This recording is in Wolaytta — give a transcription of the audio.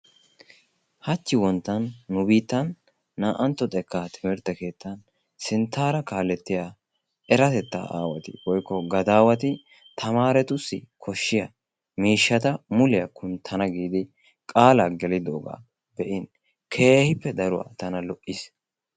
hach wonttan nu biitan naa'antto xekka sintaara kaaletiya eratetta aawati tamaaretussi mulebaa kuntana giidi qaalaa gelidoogaa be'in tana keehi lo'iis.